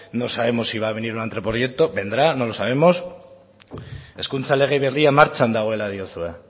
no sabemos si va a venir un anteproyecto vendrá no lo sabemos hezkuntza lege berria martxan dagoela diozue